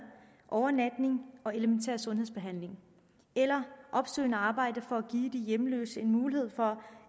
overnatning og elementær sundhedsbehandling eller opsøgende arbejde for at give de hjemløse en mulighed for